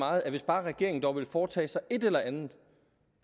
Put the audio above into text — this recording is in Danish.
meget at hvis bare regeringen dog ville foretage sig et eller andet